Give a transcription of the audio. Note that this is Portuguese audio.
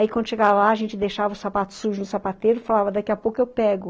Aí quando chegava lá, a gente deixava o sapato sujo no sapateiro e falava, daqui a pouco eu pego.